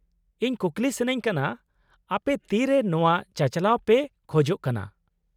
-ᱤᱧ ᱠᱩᱠᱞᱤ ᱥᱟᱹᱱᱟᱹᱧ ᱠᱟᱱᱟ , ᱟᱯᱮ ᱛᱤᱨᱮ ᱱᱚᱶᱟ ᱪᱟᱼᱪᱟᱞᱟᱣ ᱯᱮ ᱠᱷᱚᱡᱚᱜ ᱠᱟᱱᱟ ?